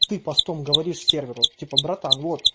постом говоришь серверу типа братан